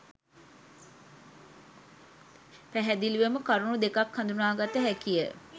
පැහැදිලිවම කරුණු දෙකක් හඳුනාගත හැකිය.